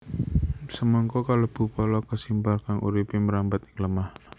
Semangka kalebu pala kesimpar kang uripé mrambat ing lemah